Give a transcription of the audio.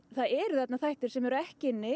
það eru þarna þættir sem eru ekki inni